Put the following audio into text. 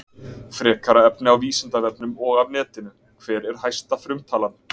Frekara efni á Vísindavefnum og af netinu: Hver er hæsta frumtalan?